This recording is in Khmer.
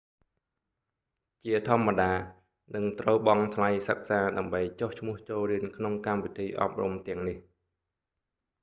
ជាធម្មតានឹងត្រូវបង់ថ្លៃសិក្សាដើម្បីចុះឈ្មោះចូលរៀនក្នុងកម្មវិធីអប់រំទាំងនេះ